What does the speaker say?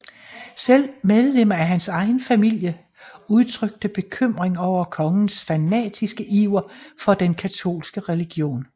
Selv medlemmer af hans egen familie udtrykte bekymring over kongens fanatiske iver for den katolske religion